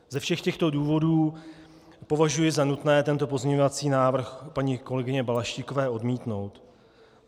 Ze všech těchto důvodů považuji za nutné tento pozměňovací návrh paní kolegyně Balaštíkové odmítnout.